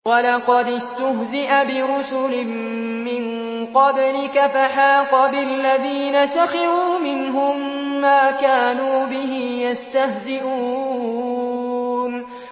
وَلَقَدِ اسْتُهْزِئَ بِرُسُلٍ مِّن قَبْلِكَ فَحَاقَ بِالَّذِينَ سَخِرُوا مِنْهُم مَّا كَانُوا بِهِ يَسْتَهْزِئُونَ